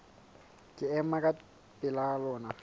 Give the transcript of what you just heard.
ke ema ka pela lona